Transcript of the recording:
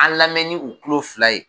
An lamɛni u ulo fila ye.